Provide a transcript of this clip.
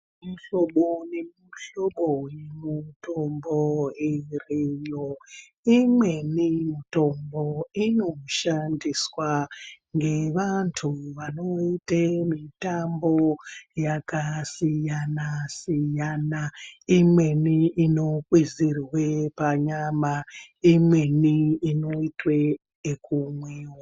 Mihlobo nemihlobo yemitombo iriyo. Imweni mitombo inoshandiswa ngevantu vanoite mitambo yakasiyana-siyana. Imweni inokwizirwe panyama, imweni inotwe yekumwiva.